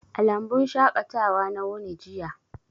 A lambun shaƙatawa na wuni jiya.